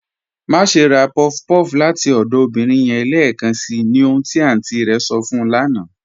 Máṣè rá puff-puff láti ọdọ obìnrin yẹn lẹẹkànṣí, ní ohun tí àntí rẹ̀ sọ̀ fún ù lána"